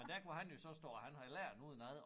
Men der kunne han jo så stå og han havde lært den udenad